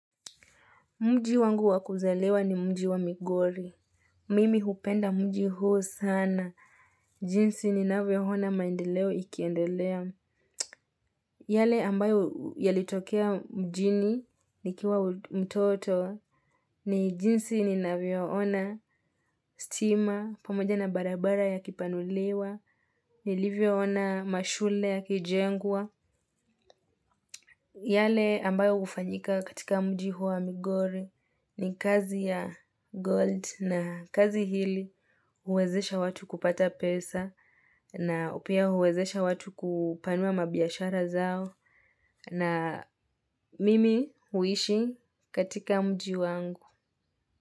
Mji wangu wakuzaliwa ni mji wa migori. Mimi hupenda mji huo sana. Jinsi ni navyo hona maendeleo ikiendelea. Yale ambayo yalitokea mjini ni kiwa mtoto ni jinsi ni navyo ona stima pamoja na barabara ya kipanuliwa. Nilivyo ona mashule ya kijengwa. Yale ambayo hufanyika katika mji huu wa migori ni kazi ya gold na kazi hili huwezesha watu kupata pesa na pia huwezesha watu kupanua mabiashara zao na mimi huishi katika mji wangu.